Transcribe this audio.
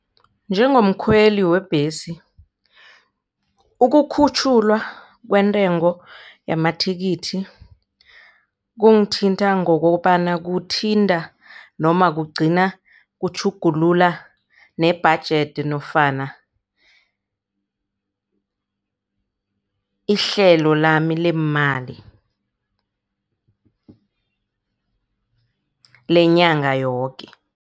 Njengomkhweli webhesi, ukukhutjhulwa kwentengo yamathikithi kungithinta ngokobana kuthinta noma kugcina kutjhugulula ne-budget nofana ihlelo lami leemali lenyanga yoke.